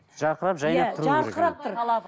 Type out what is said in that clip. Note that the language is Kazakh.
жарқырап жайнап тұруы керек